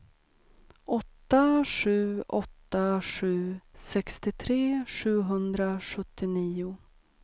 åtta sju åtta sju sextiotre sjuhundrasjuttionio